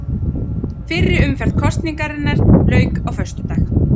Fyrri umferð kosningarinnar lauk á föstudag